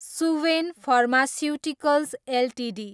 Suven pharmaceuticals Ltd